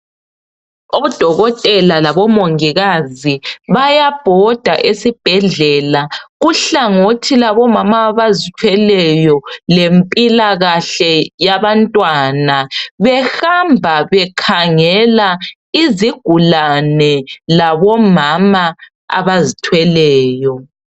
Odokotela labo mongikazi bayabhoda esibhedlela kuhlangothi labomama abazithweleyo lempilakahle yabantwana behamba bekhangela izigulane labomama abazithweleyo.